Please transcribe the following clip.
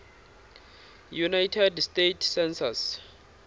united states census